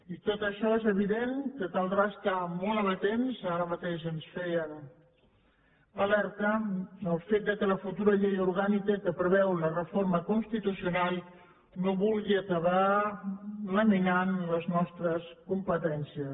i a tot això és evident que caldrà estar hi molt amatents ara mateix ens feien l’alerta pel fet que la futura llei orgànica que preveu la reforma constitucional no vulgui acabar laminant les nostres competències